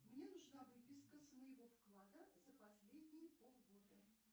мне нужна выписка с моего вклада за последние полгода